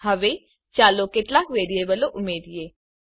હવે ચાલો કેટલાક વેરીયેબલો ઉમેરિયે